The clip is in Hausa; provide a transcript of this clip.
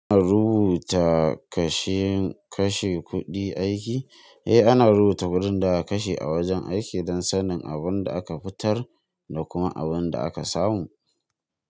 In rubuta kashe kashe kuɗi aiki? Eh, ana rubuta kuɗin da aka kashe a wajen aiki don sanin abin da aka fitar da kuma abin da aka samu.